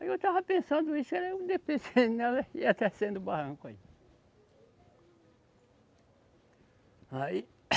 Aí eu estava pensando isso, eu ainda pensei nela ia descendo o barranco aí. Aí